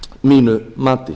mínu mati